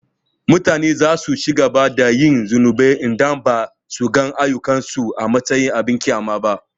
Mutane za su ci gaba da yin zunubi idan ba su ga ayyukansu a matsayin abin ƙyama ba.